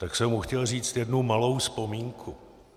Tak jsem mu chtěl říct jednu malou vzpomínku.